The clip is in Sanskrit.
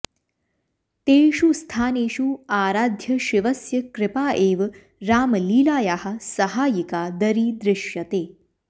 तेषु स्थानेषु आराध्यशिवस्य कृपा एव रामलीलायाः सहायिका दरीदृश्यते